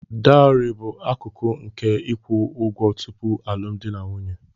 Dowari bụ akụkụ nke ịkwụ ụgwọ tupu alụmdi na nwunye.